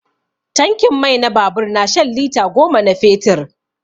Tankin mai na babur na shan lita goma na fetur.